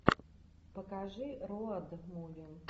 покажи роад муви